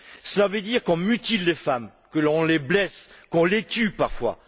Cela veut dire qu'on mutile les femmes, qu'on les blesse, qu'on les tue, parfois.